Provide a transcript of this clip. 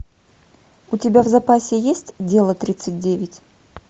у тебя в запасе есть дело тридцать девять